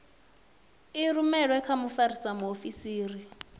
i rumelwe kha mfarisa muofisiri